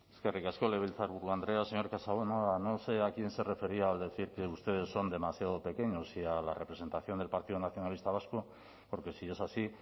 eskerrik asko legebiltzarburu andrea señor casanova no sé a quién se refería al decir que ustedes son demasiado pequeños si a la representación del partido nacionalista vasco porque si es así